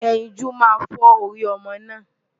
Ẹyinjú máa fọ́ orí ọmọ náà.